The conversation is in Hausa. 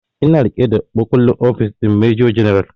Ina riƙe da makullin ofis din major general